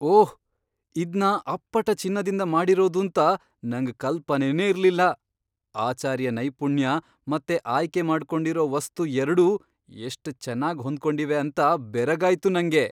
ಓಹ್! ಇದ್ನ ಅಪ್ಪಟ ಚಿನ್ನದಿಂದ ಮಾಡಿರೋದೂಂತ ನಂಗ್ ಕಲ್ಪನೆನೇ ಇರ್ಲಿಲ್ಲ. ಆಚಾರಿಯ ನೈಪುಣ್ಯ ಮತ್ತೆ ಆಯ್ಕೆಮಾಡ್ಕೊಂಡಿರೋ ವಸ್ತು ಎರ್ಡೂ ಎಷ್ಟ್ ಚೆನ್ನಾಗ್ ಹೊಂದ್ಕೊಂಡಿವೆ ಅಂತ ಬೆರಗಾಯ್ತು ನಂಗೆ.